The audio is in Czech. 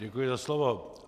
Děkuji za slovo.